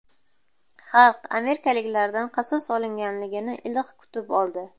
Xalq amerikaliklardan qasos olinganini iliq kutib oldi.